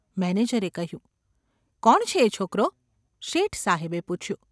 ’ મેનેજરે કહ્યું. ​ ‘કોણ છે એ છોકરો ?’ શેઠ સાહેબે પૂછ્યું.